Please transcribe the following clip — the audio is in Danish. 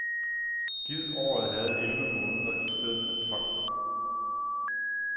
Gid året havde elleve måneder i stedet for tolv.